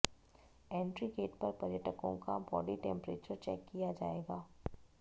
entry gate पर पर्यटकों का बॉडी टेम्परेचर चेक किया जाएगा